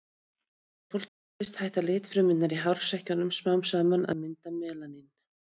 Þegar fólk eldist hætta litfrumurnar í hársekkjunum smám saman að mynda melanín.